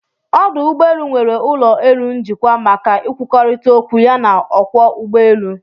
Ọdụ ụgbọelụ nwere ụlọ elu njikwa maka ịkwụkọrịta okwu ya na ọkwọ ụgbọ èlụ̀